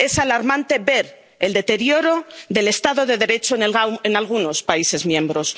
Es alarmante ver el deterioro del Estado de Derecho en algunos países miembros.